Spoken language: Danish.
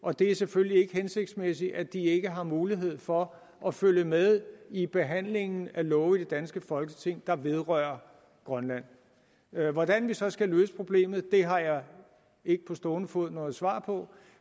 og det er selvfølgelig ikke hensigtsmæssigt at de ikke har mulighed for at følge med i behandlingen af love i det danske folketing der vedrører grønland hvordan vi så skal løse problemet har jeg ikke på stående fod noget svar på